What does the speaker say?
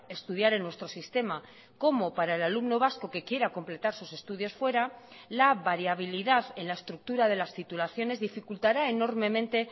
estudiar en nuestro sistema como para el alumno vasco que quiera completar sus estudios fuera la variabilidad en la estructura de las titulaciones dificultará enormemente